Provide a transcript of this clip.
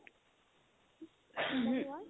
নমনোৱা